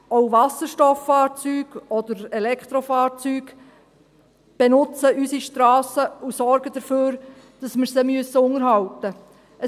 Auch Wasserstofffahrzeuge oder Elektrofahrzeuge benutzen unsere Strassen und sorgen dafür, dass wir sie unterhalten müssen.